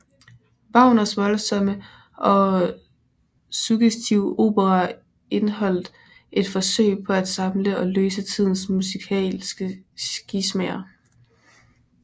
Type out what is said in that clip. Wagners voldsomme og suggestive operaer indeholdt et forsøg på at samle og løse tidens musikalske skismaer